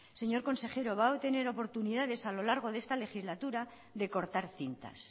señor consejero va a tener oportunidades a lo largo de esta legislatura de cortar cintas